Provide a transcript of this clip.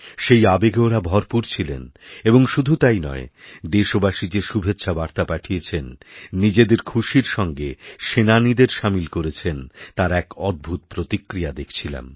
সেই আবেগে ওঁরা ভরপুর ছিলেন এবং শুধুতাই নয় দেশবাসী যে শুভেচ্ছাবার্তা পাঠিয়েছেন নিজেদের খুশির সঙ্গে সেনানীদেরসামিল করেছেন তার এক অদ্ভূত প্রতিক্রিয়া দেখছিলাম